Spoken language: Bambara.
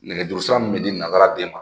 Nɛgɛjuru sira min bɛ di nanzaraden ma